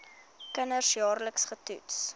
kinders jaarliks getoets